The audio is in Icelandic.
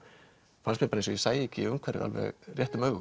fannst mér eins og ég sæi ekki umhverfið réttum augum